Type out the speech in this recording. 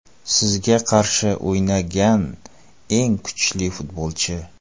Sizga qarshi o‘ynagan eng kuchli futbolchi.